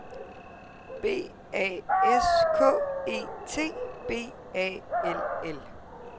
B A S K E T B A L L